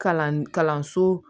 Kalan kalanso